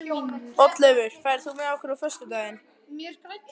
Oddleifur, ferð þú með okkur á föstudaginn?